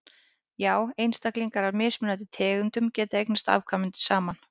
já einstaklingar af mismunandi tegundum geta eignast afkvæmi saman